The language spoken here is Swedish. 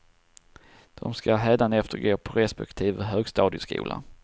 De ska hädanefter gå på respektive högstadieskola.